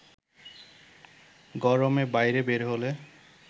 গরমে বাইরে বের হলে